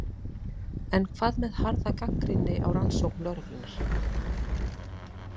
En hvað með harða gagnrýni á rannsókn lögreglunnar?